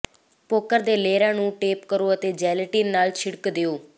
poker ਦੇ ਲੇਅਰਾਂ ਨੂੰ ਲੇਪ ਕਰੋ ਅਤੇ ਜੈਲੇਟਿਨ ਨਾਲ ਛਿੜਕ ਦਿਓ